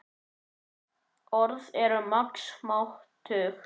Orð eru margs máttug.